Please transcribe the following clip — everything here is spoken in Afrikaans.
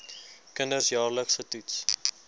kinders jaarliks getoets